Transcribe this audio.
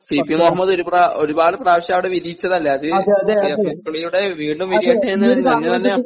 C P Muhammad ഒരു പ്രാ ഒരുപാട് പ്രാവശ്യം അവിടെ വിരിയിച്ചതല്ലേ അത് റിയാസ് മുക്കോളിലൂടെ വീണ്ടും വിരിയട്ടെന്ന്